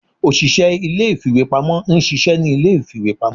ọsise ilé ìfíwepámọ n ṣiṣẹ ni ilé ìfíwepámọ